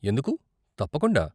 ఎందుకు, తప్పకుండా.